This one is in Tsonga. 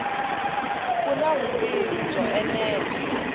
ku na vutivi byo enela